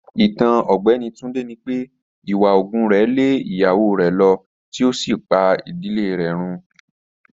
Itan Ọgbẹni Tunde ni pe iwa oògùn rẹ le iyawo rẹ lọ ti o si pa idile rẹ run.